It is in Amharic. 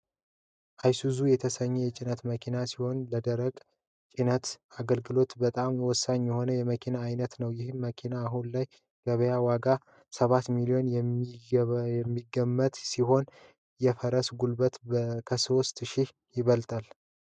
አይሱዙ የተሰኘው የጭነት መኪና ሲሆን ለደረቅ ጭነት አገልግሎት በጣም ወሳኝ የሆነ የመኪና ዓይነት ነው። ይህ መኪና አሁን ላይ ገበያ ዋጋው ሰባት ሚሊየን የሚገመት ሲሆን የፈረስ ጉልበቱ ከሦስት ሽህ ይበልጣል።